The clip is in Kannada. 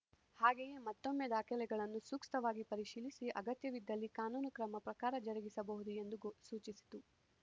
ಹಾಗೆಯೇ ಮತ್ತೊಮ್ಮೆ ದಾಖಲೆಗಳನ್ನು ಸೂಕ್ತವಾಗಿ ಪರೀಶೀಲಿಸಿ ಅಗತ್ಯವಿದ್ದಲ್ಲಿ ಕಾನೂನು ಕ್ರಮ ಪ್ರಕಾರ ಜರುಗಿಸಬಹುದು ಎಂದು ಸೂಚಿಸಿತು